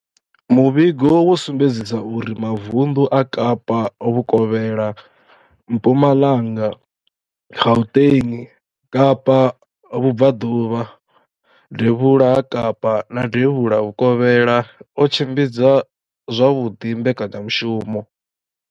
Muvhigo wo sumbedzisa uri mavundu a Kapa Vhukovhela, Mpumalanga, Gauteng, Kapa Vhubvaḓuvha, Devhula ha Kapa na Devhula Vhukovhela o tshimbidza zwavhuḓi mbekanyamushumo.